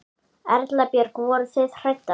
Erla Björg: Voruð þið hræddar?